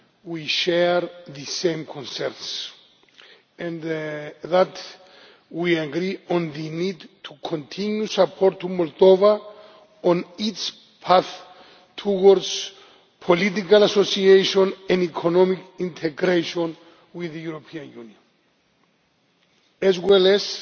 we share the same concerns and that we agree on the need to continue support to Moldova on its path towards political association and economic integration with the European Union, as well as